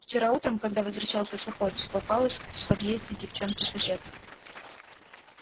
вчера утром когда возвращался с охоты попалась в подъезде девчонка-соседка